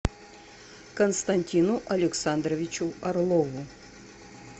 константину александровичу орлову